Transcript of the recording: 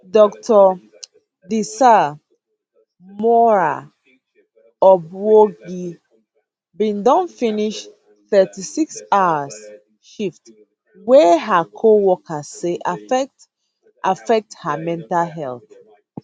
dr desree moraa obwogi bin don finish thirty six hour shift wey her coworkers say affect affect her mental health